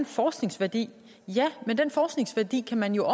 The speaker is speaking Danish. forskningsværdi ja men den forskningsværdi kan man jo